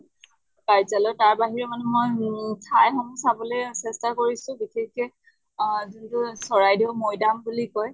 কাৰ্যালয়ত তাৰ বাহিৰেও মানে মই মু ঠাই সমূহ চাবলৈ চেষ্টা কৰিছো বিশেষকে আহ যিবোৰ আছে চৰাইদেওঁ মৈদাম বুলি কয়